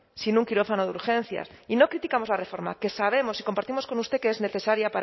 sin un quirófano de urgencias y no criticamos la reforma que sabemos y compartimos con usted que es necesaria